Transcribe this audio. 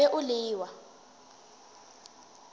tla be o le wa